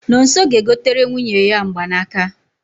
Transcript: Nonso ga-egotere nwunye ya mgbanaka